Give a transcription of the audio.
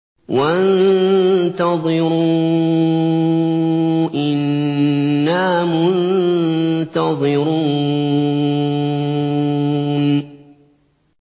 وَانتَظِرُوا إِنَّا مُنتَظِرُونَ